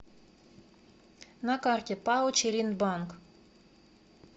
на карте пао челиндбанк